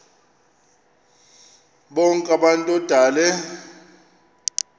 bonk abantu odale